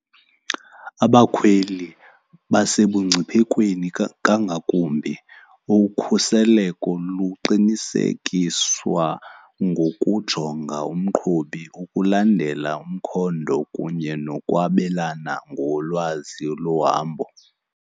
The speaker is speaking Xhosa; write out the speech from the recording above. Abakhweli basebungciphekweni kangakumbi. Ukhuseleko luqinisekiswa ngokujonga umqhubi, ukulandela umkhondo kunye nokwabelana ngolwazi lohambo.